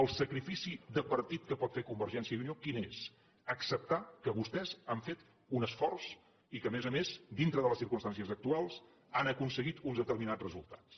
el sacrifici de partit que pot fer convergència i unió quin és acceptar que vostès han fet un esforç i que a més a més dintre de les circumstàncies actuals han aconseguit uns determinats resultats